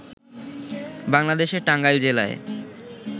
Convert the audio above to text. বাংলাদেশের টাঙ্গাইল জেলায়